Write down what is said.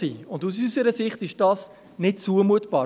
Das ist aus unserer Sicht nicht zumutbar.